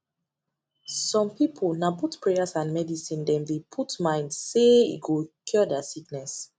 some people na both prayers and medicine them dey put mind say e go cure their sickness